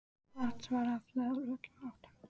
Vatns var aflað úr öllum áttum.